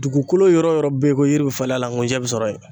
Dugukolo yɔrɔ o yɔrɔ be ye ko yiri be falen a la ngunjɛ be sɔrɔ ye.